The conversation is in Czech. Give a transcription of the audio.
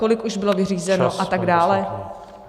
Kolik už bylo vyřízeno a tak dále?